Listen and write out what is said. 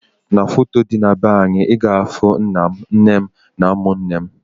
N'foto dị na be anyị, ị ga ahụ nna m, nne m na ụmụnne m